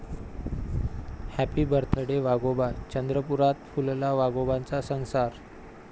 Happy birthday वाघोबा, चंद्रपुरात फुलला वाघोबांचा संसार!